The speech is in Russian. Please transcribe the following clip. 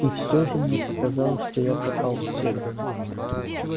и всё же мне показалось что я попал в цель